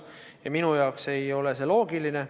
Ja minu jaoks ei ole see loogiline.